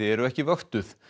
eru ekki vöktuð